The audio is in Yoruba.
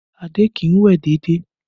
Adé kì í wẹ̀ déédéé